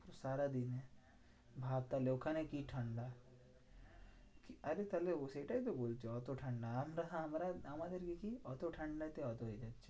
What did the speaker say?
সারাদিন ভাব তাহলে ওখানে কি ঠান্ডা? আরে তাহলে ও সেটাই তো বলছি, যে এত ঠান্ডা আর আমরা আমাদের কি এত ঠান্ডাতে এত ইয়ে